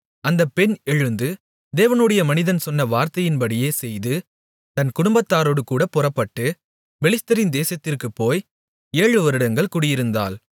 அந்தப் பெண் எழுந்து தேவனுடைய மனிதன் சொன்ன வார்த்தையின்படியே செய்து தன் குடும்பத்தாரோடுகூடப் புறப்பட்டு பெலிஸ்தரின் தேசத்திற்குப்போய் ஏழுவருடங்கள் குடியிருந்தாள்